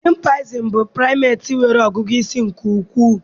Chimpanzees bụ primates nwere ọgụgụ isi nke ukwuu